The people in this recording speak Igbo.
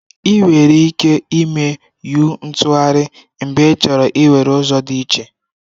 Ị nwere ike ime u-ntụgharị mgbe ịchọrọ iwere ụzọ dị iche.